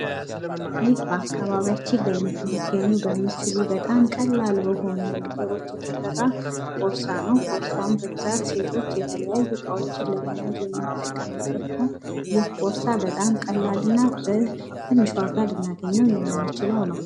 ይህ በአከባቢያችን ሊገኙ በሚችሉ በጣም ቀላል በሆኑ ነገሮች የተሰራ ቦርሳ ነው። ቦርሳዉም በብዛት ሴቶች የተለያዩ እቃዎችን ለመያዝ የሚቀሙበት ነው ፤ ይህ ቦርሳ በጣም ቀላል እና በትንሽ ዋጋ ልናገኘዉ የምንችለዉ ነው።